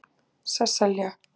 Sesselja